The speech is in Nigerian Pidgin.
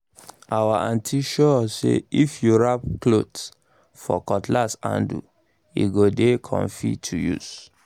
our aunty show us say if you wrap cloth for cutlass handle e go dey comfy to use